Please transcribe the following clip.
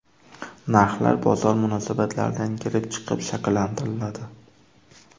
Narxlar bozor munosabatlaridan kelib chiqib shakllantiriladi.